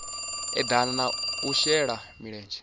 eḓana na u shela mulenzhe